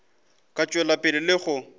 ka tšwela pele le go